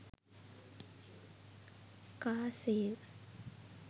car sale